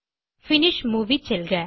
finish movie செல்க